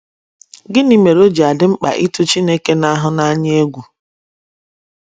Gịnị mere o ji dị mkpa ịtụ Chineke na - ahụ n’anya egwu?